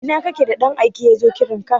Ina kake da ɗan aike yazo kiranka?